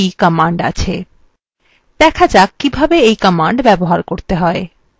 দেখা যাক কিভাবে এই command ব্যবহার করতে হয়